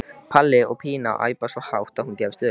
Palli og Pína æpa svo hátt að hún gefst upp.